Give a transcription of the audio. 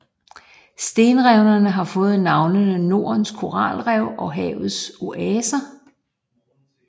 Stenrevene har fået tilnavnene Nordens Koralrev og Havets Oaser